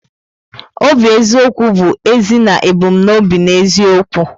Obi eziokwu bụ ezi na ebumnobi n'eziokwu.